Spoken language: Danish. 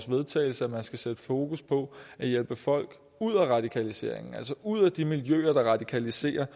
vedtagelse at man skal sætte fokus på at hjælpe folk ud af radikaliseringen altså ud af de miljøer der radikaliserer